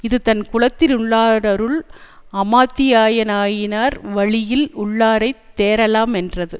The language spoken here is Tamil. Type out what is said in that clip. இது தன் குலத்திலுள்ளாருள் அமாத்தியராயினார் வழியில் உள்ளாரைத் தேறலா மென்றது